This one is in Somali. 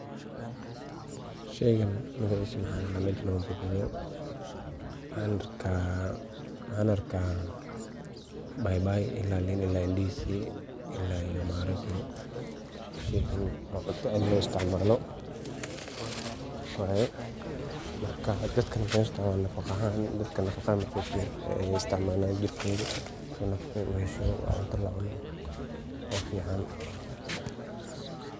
Sheygaan magacisa maxa ladaha, mesha noga muqdo maxan arka paipai, lin ila ndizi, ila iyo maharage waa cunto aad lo isticmalo waye. Marka dadka berta waa nafaqo ahan ,marka iney istic malan jirkodi si ay nafaqa u helan inta lacuno aa fican .